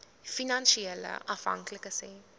finansiële afhanklikes hê